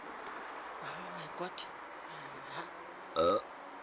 ba šetše ba kile ba